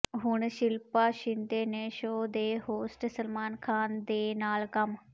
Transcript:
ਪਰ ਹੁਣ ਸ਼ਿਲਪਾ ਸ਼ਿੰਦੇ ਨੇ ਸ਼ੋਅ ਦੇ ਹੋਸਟ ਸਲਮਾਨ ਖਾਨ ਦੇ ਨਾਲ ਕੰਮ